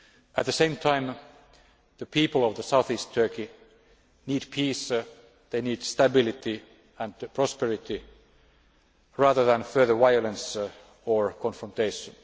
At the same time, the people of south east Turkey need peace, they need stability and prosperity rather than further violence or confrontation.